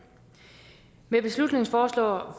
med beslutningsforslaget